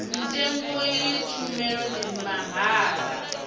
mutengo iyi tshumelo ndi mahala